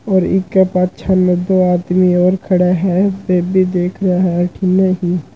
और इके पाछे में दो आदमी और खड़ा हैं बे भी देखरा है अठीने --